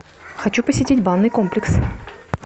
хочу посетить банный комплекс